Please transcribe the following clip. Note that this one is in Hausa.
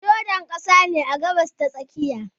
Jordan ƙasa ne a Gabas ta tsakiya